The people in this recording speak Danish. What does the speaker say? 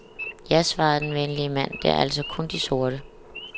Ja, svarede den venlige mand, det er altså kun de sorte.